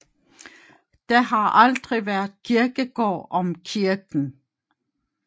Der har aldrig været kirkegård om kirken